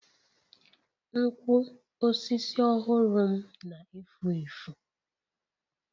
Nkwo osisi ọhụrụ m na-efu efu.